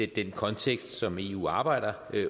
den kontekst som eu arbejder